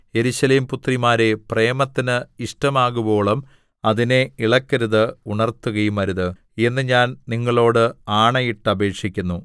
യെരൂശലേം പുത്രിമാരേ പ്രേമത്തിന് ഇഷ്ടമാകുവോളം അതിനെ ഇളക്കരുത് ഉണർത്തുകയുമരുത് എന്ന് ഞാൻ നിങ്ങളോട് ആണയിട്ടപേക്ഷിക്കുന്നു